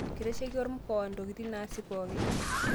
Kitasheki ormkoa ntokiting' naasi pooki